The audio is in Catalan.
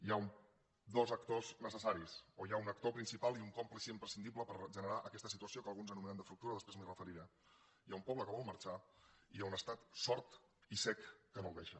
hi ha dos actors necessaris o hi ha un actor principal i un còmplice imprescindible per generar aquesta situació que alguns anomenem de fractura després m’hi referiré hi ha un poble que vol marxar i hi ha un estat sord i cec que no el deixa